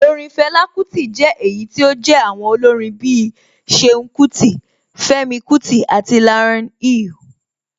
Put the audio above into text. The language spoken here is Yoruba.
Orin Fela Kuti jẹ́ èyí tí ó jé àwọn olórin bí i Ṣeun Kuti, Femi Kuti àti Lauryn Hill.